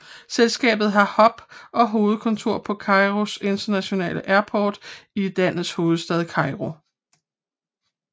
Selskabet har hub og hovedkontor på Cairo International Airport i landets hovedstad Kairo